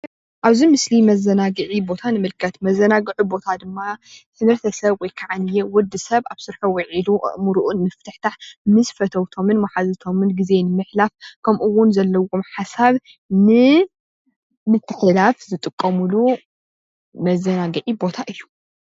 ኣብ ምስሊ መዘናግዒ ቦታ ንምልከት። መዘናግዒ ቦታ ድማ ሰብ አብ ስርሑ ዊዒሉ አእምርኡ ንምፍትሕታሕ ምስ መሓዙቶም መልእኽቲ ዘመሓላልፍሉ መዘናግዒ ቦታ እዩ